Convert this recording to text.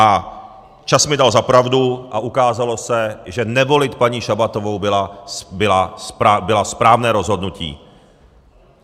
A čas mi dal za pravdu a ukázalo se, že nevolit paní Šabatovou bylo správné rozhodnutí.